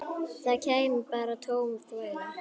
Það kæmi bara tóm þvæla.